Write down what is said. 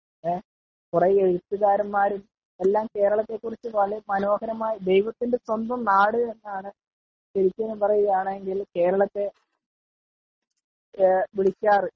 കുറെ എഴുത്തുകാരന്മാരും എല്ലാം കേരളത്തെ കുറിച്ച് മനോഹരമായി ,ദൈവത്തിന്റെ സ്വന്തം നാട് എന്ന് ആണ് ശെരിക്കും പറയുവാണെങ്കിൽ കേരളത്തെ വിളിക്കാറ് .